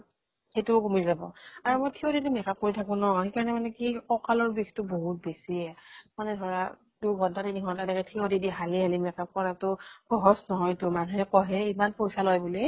সিতোও কমি যাব। আৰু মই থিয় দি তো makeup কৰি থাকিব নোৱাৰো। সেইকাৰণে মানে কি ককালৰ বিষ্তো বহুত বেছি। মানে ধৰা দুই ঘণ্টা তিনি ঘণ্টা থিয় দি দি হালি হালি makeup কৰাতো সহজ নহয়তো। মানুহে কয় হে ইমান পইচা লয় বুলি।